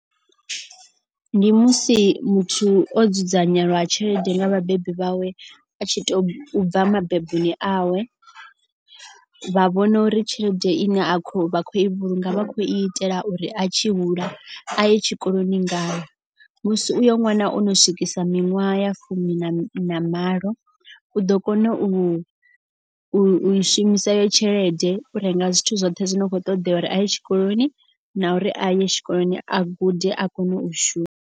Ndi musi muthu o dzudzanyelwa tshelede nga vhabebi vhawe a tshi to bva mabeboni awe. Vha vhona uri tshelede ine a kho vha kho i vhulunga vha khou itela uri a tshi hula a ye tshikoloni ngayo. Musi uyo ṅwana ono swikisa miṅwaha ya fumi na malo u ḓo kona u i shumisa iyo tshelede. U renga zwithu zwoṱhe zwo no kho ṱoḓea uri a ye tshikoloni na uri a ye tshikoloni a gude a kone u shu.